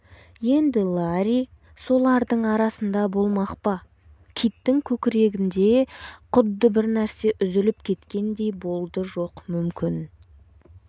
енді ларри солардың арасында болмақ па киттің көкіргінде құдды бір нәрсе үзіліп кеткендей болды жоқ мүмкін